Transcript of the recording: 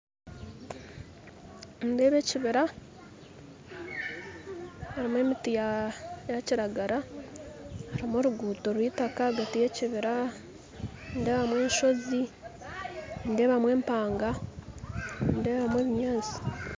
Nindeeba ekibira harimu emiti yakiragara harimu oruguuto rw'itaka ahagati y'ekibira nindeebamu enshozi nindeebamu empanga nindeebamu ebinyaatsi